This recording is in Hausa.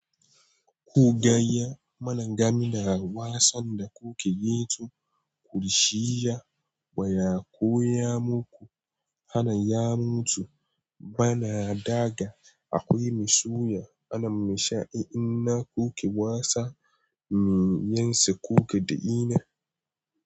Ku gayya mana game da wasan da kuke yin tun kurshiya baya waya koya muku? Hana ya mutu bana daga akwai mai soya ana mashi in ina kuke wasa me yansa kuke da ina.